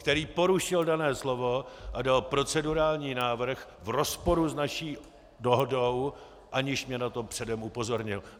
Který porušil dané slovo a dal procedurální návrh v rozporu s naší dohodou, aniž mě na to předem upozornil.